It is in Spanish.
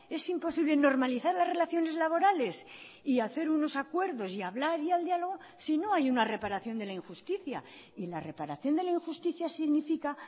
es imposible normalizar las relaciones laborales y hacer unos acuerdos y hablar y al diálogo sino hay una reparación de la injusticia y la reparación de la injusticia significa